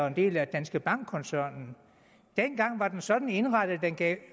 en del af danske bank koncernen dengang var den sådan indrettet at den